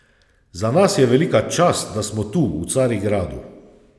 Za nas je velika čast, da smo tu v Carigradu.